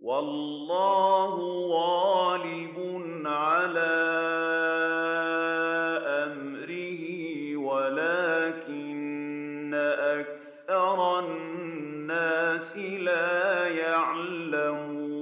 وَاللَّهُ غَالِبٌ عَلَىٰ أَمْرِهِ وَلَٰكِنَّ أَكْثَرَ النَّاسِ لَا يَعْلَمُونَ